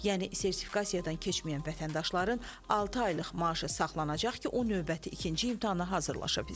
Yəni sertifikasiyadan keçməyən vətəndaşların altı aylıq maaşı saxlanacaq ki, o növbəti ikinci imtahana hazırlaşa bilsin.